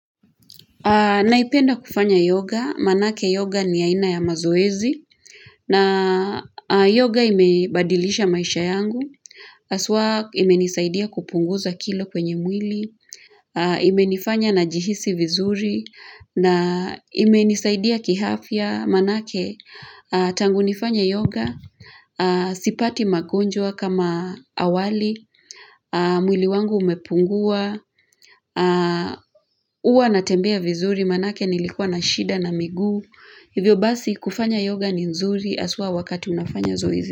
Naipenda kufanya yoga, manake yoga ni aina ya mazoezi, na yoga imebadilisha maisha yangu, haswa imenisaidia kupunguza kilo kwenye mwili, imenifanya najihisi vizuri, na imenisaidia kiafia manake tangu nifanye yoga, sipati magonjwa kama awali, mwili wangu umepungua, huwa natembea vizuri manake nilikuwa na shida na miguu Hivyo basi kufanya yoga ni nzuri haswa wakati unafanya zoezi.